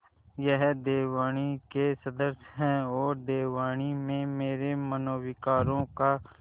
वह देववाणी के सदृश हैऔर देववाणी में मेरे मनोविकारों का